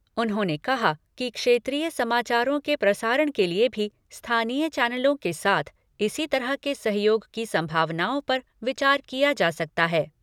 उन्होंने कहा कि क्षेत्रीय समाचारों के प्रसारण के लिए भी स्थानीय चैनलों के साथ इसी तरह के सहयोग की संभावनाओं पर विचार किया जा सकता है।